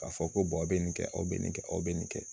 K'a fɔ ko bɛ nin kɛ aw bɛ nin kɛ aw bɛ nin kɛ